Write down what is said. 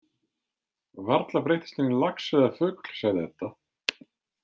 Varla breyttist hann í lax eða fugl, sagði Edda.